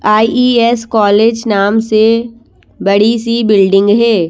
IES college नाम से बड़ी सी बिल्डिंग है।